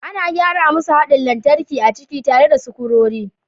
Ana gyara masu haɗin lantarki a ciki tare da sukurori